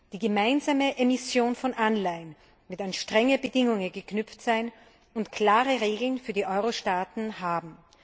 Die gemeinsame Emission von Anleihen wird an strenge Bedingungen geknüpft sein und klare Regeln für die Eurostaaten haben.